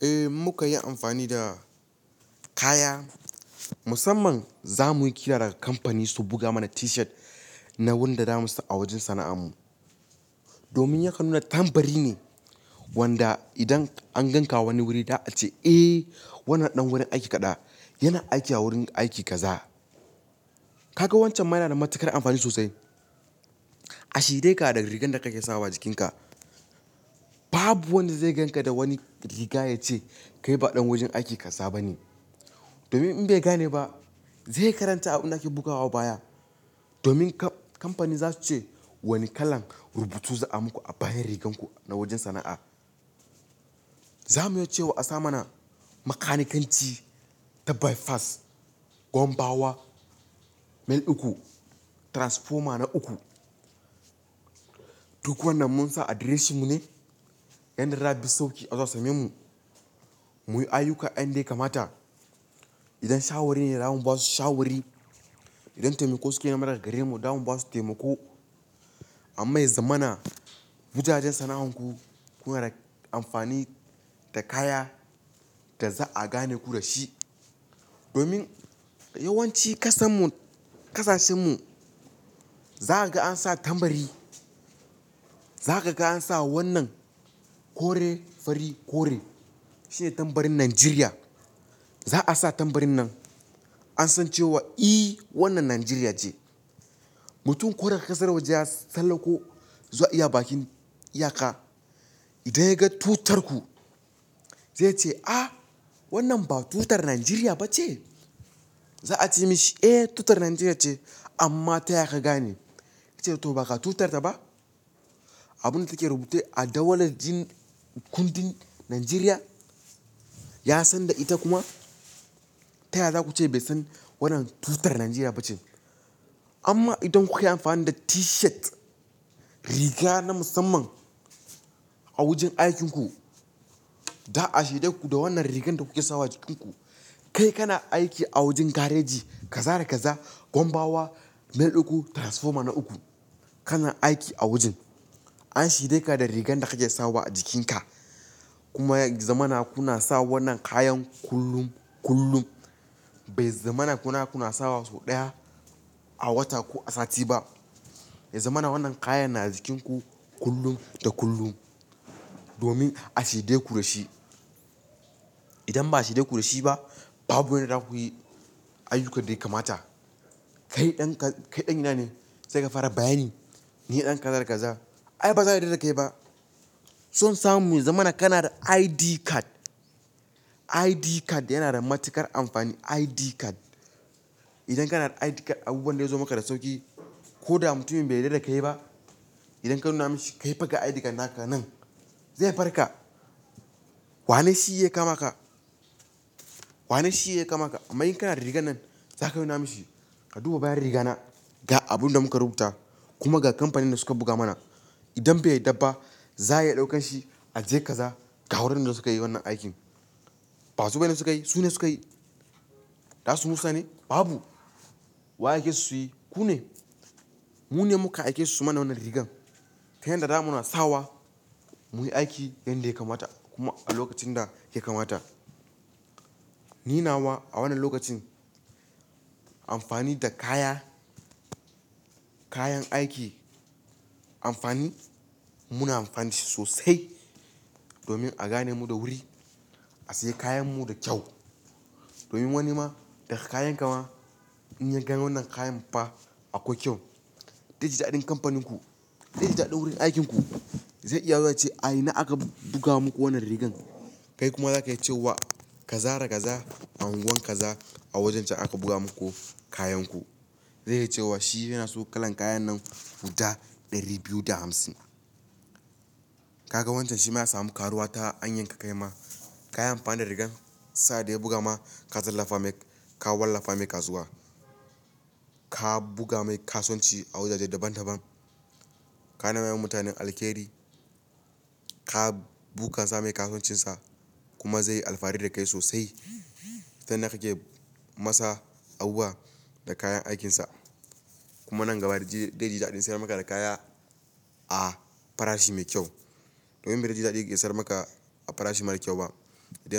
Eh muka yi amfani da kaya musamman za muyi kira daga kamfani su buga mana T-shirt na wanda zamu sa a wajen sana'an mu. Domin ya kan nuna tambari ne wanda idan an ganka wani wuri za a ce "Eh wannan ɗan wurin aiki kada, yana aiki a wurin aiki kaza." Kaga wancan ma yana da matuƙar amfani sosai. A shede ka da rigar da kake sawa jikinka. Babu wanda zai ganka da wani riga ya ce kai ba ɗan wajen aiki kaza ba ne. Domin in bai gane ba zai karanta abin da ake bugawa baya. Domin kamfani za su ce wani kalan rubutu za'a muku a bayan rigar ku na wajen sana'a. Za mu yi cewa a sa mana makanikanci ta By Pass, Gwambawa, Mil uku, Transformer na uku. Duk wannan mun sa adireshin mu ne. Yan da za'afi samun sauki azo a same mu. Muyi ayyuka yan da ya kamata. Idan shawari ne zamu basu shawari, idan taimako suke nema daga gare mu zamu basu taimako. Amma yi zamana, wujajen sana'ar ku, kuna da amfani da kaya da za'a gane ku da shi. Domin yawanci kasar mu, ƙasashen mu, za kaga an sa tambari. Za kaga an sa wannan kore fari kore shine tambarin Najeriya. Za'a sa tambarin nan, an san cewa i wannan Najeriya ce. Mutum koda ƙasar waje ya tsallako ko, zuwa bakin iyaka. Idan ya ga tutar ku zai ce "Ah wannan ba tutar Najeriya ba ce?" Za a ce mishi "Eh tutar Najeriya ce amma taya ka gane?" Yace "to ba ga tutar ta ba. Abun da kuke rubuce a jadawalin kundin Najeriya. Ya san da ita kuma. Ta ya za ku ce bai san wannan tutar Najeriya ba ce?" Amma idan kuka yi amfani da T-shirt riga na musamman a wajen aikin ku, za'a shaide ku da wannan rigar da kuke sawa jikin ku. Kai kana aiki a wajen gareji kaza da kaza, Gwanbawa, Mil uku, Transformer na uku. Kana aiki a wajen. An shaide ka da rigar da kake sawa a jikin ka. Kuma ya zamana kuna sa wannan kayan kullum kullum. Bai zamana kuna kuna sawa sau ɗaya a wata ko a sati ba. Ya zamana wannan kayan na jikin ku kullum da kullum. Domin a shirye ku da shi. Idan ba a shaide ku da shi ba babu yanda za kuyi ayyukan daya kamata. Kai ɗan kai ɗan ina ne? Sai ka fara bayani. Ni ɗan kaza da kaza. Ai ba za'a yarda da kai ba. Son samu ya zamana kana da ID card. ID card yana da matuƙar amfani ID card. Idan kana da ID card abubuwan zai zo maka da sauƙi. Ko da mutumin bai yarda da kai ba, idan ka nuna mishi kaifa ga ID card naka nan, zai farka. Wane shi ya kama ka? Wa ne shi ya kama ka? Amma in kana da rigar nan zaka nuna mishi ka duba bayan riga na ga abun da muka rubuta kuma ga kamfanin da suka buga mana. Idan bai yadda ba za'a iya ɗaukan shi a je kaza ga wurin da su kayi wannan aikin. Ba su bane suka yi sune su kayi. Za su musa ne? Babu. Wa yace su yi? Ku ne. Mu ne muka aikesu su mana wannan rigar. Ta yanda zamuna sawa muyi aiki yan da ya kamata kuma a lokacin da ya kamata. Ni nawa a wannan lokacin amfani da kaya, kayan aiki amfani muna amfani da shi sosai domin a gane mu da wuri. A sayi kayan mu da kyau. Domin wani ma daga kayan ka ma in ya gani wannan kayan fa akwai kyau. Zaiji daɗin kamfanin ku, zaiji daɗin wurin aikin ku. Zai iya zuwa yace "A ina aka buga muku wannan rigar?" Kai kuma zaka iya cewa "Kaza da kaza a unguwar kaza a wajen can aka buga muku kayan ku." Zai iya cewa shi yana so kalan kayan nan guda ɗari biyu da hamsin. Kaga wancan shi ma ya samu karuwa ta hanyar ka kai ma kayan amfani da rigar. Sa'ad da ya buga ma ka tallafa mai ka wallafa mai kasuwa. Ka buga mai kasunci a wajaje daban daban. Ana raya mutanen alkairi. Ka bunkasa mai kasuncin sa kuma zaiyi alfahari da kai sosai. Ta yanda kake masa abubuwa da kayan aikin sa. Kuma nan gaba zaiji daɗin sayar maka da kaya a farashi mai kyau. Domin ba zaiji dadi yaki sayar maka a farashi mara kyau ba. Idan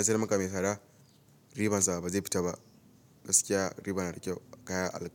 ya sayar maka mai tsada ribar sa ba zai fita ba. Gaskiya riba na da kyau kaya alheri.